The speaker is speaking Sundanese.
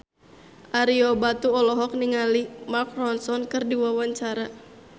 Ario Batu olohok ningali Mark Ronson keur diwawancara